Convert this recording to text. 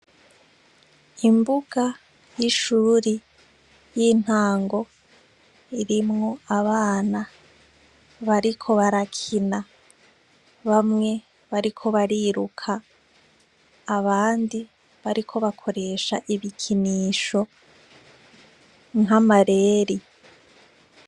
Imbuga y'ishuri y'intango irimwo abana bariko barakina, bamwe bariko bariruka abandi bariko bakoresha ibikinisho nk'amareri.